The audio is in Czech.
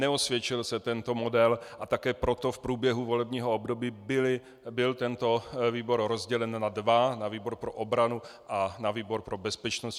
Neosvědčil se tento model a také proto v průběhu volebního období byl tento výbor rozdělen na dva - na výbor pro obranu a na výbor pro bezpečnost.